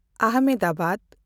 Ahmedabad